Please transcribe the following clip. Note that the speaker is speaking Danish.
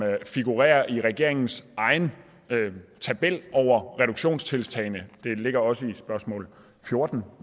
figurerer i regeringens egen tabel over reduktionstiltag det ligger også i spørgsmål fjorten